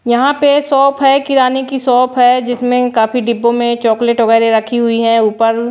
यहां पे शॉप है किराने की शॉप है जिसमें काफी डिब्बों में चॉकलेट वगैरह रखी हुई है ऊपर--